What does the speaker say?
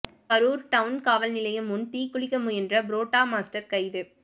Karur town காவல்நிலையம் முன் தீக்குளிக்க முயன்ற புரோட்டா மாஸ்டர் கைது